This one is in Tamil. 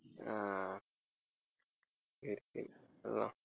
அஹ்